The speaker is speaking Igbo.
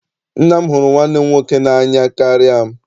Nna m hụrụ nwanne m nwoke n'anya karịa m.